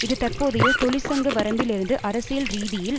இது தற்போதைய தொழிற்சங்க வரம்பில் இருந்து அரசியல் ரீதியில்